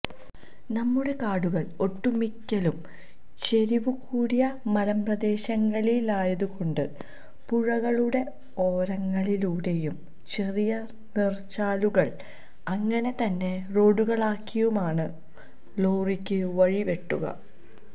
നമ്മുടെ കാടുകൾ ഒട്ടുമുക്കാലും ചെരിവു കൂടിയ മലമ്പ്രദേശങ്ങളിലായതുകൊണ്ട് പുഴകളുടെ ഓരങ്ങളിലൂടേയും ചെറിയ നീർച്ചാലുകൾ അങ്ങനെ തന്നെ റോഡുകളാക്കിയുമാണ് ലോറിക്ക് വഴിവെട്ടുക